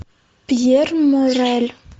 пьер морель